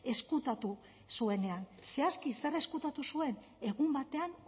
ezkutatu zuenean zehazki zer ezkutatu zuen egun batean